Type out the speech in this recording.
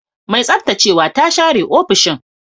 Mai tsaftacewa ta share ofishin.